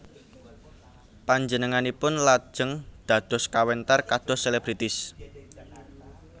Panjenenganipun lajeng dados kawentar kados selebritis